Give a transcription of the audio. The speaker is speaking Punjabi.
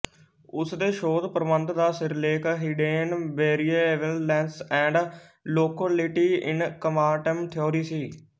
ਉਸ ਦੇ ਸੋਧਪ੍ਰਬੰਧ ਦਾ ਸਿਰਲੇਖ hidden variables and locality in quantum theory C